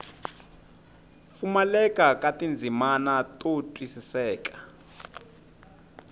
pfumaleka ka tindzimana to twisiseka